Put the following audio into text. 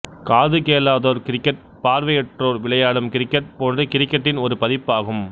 காது கேளாதோர் கிரிக்கெட் பார்வையற்றோர் விளையாடும் கிரிக்கெட் போன்று கிரிக்கெட்டின் ஒரு பதிப்பாகும்